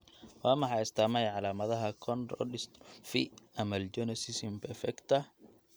Waa maxay astaamaha iyo calaamadaha Cone rod dystrophy amelogenesis imperfecta?